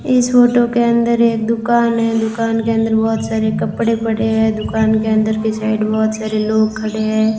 इस फोटो के अंदर एक दुकान है दुकान के अंदर बहुत सारे कपड़े पड़े हैं दुकान के अंदर के साइड बहुत सारे लोग खड़े हैं।